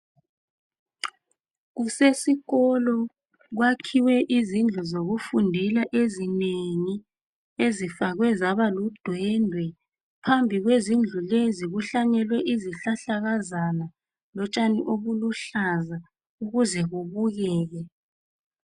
Kusesikolo kwakhiwe izindlu zokufundela ezinengi, ezifakwe zabaludwendwe. Phambi kwezindlulezi kuhlanyelwe izihlahlakazana lotshani obuluhlaza ukuze kubukeke.